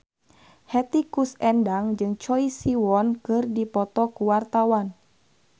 Hetty Koes Endang jeung Choi Siwon keur dipoto ku wartawan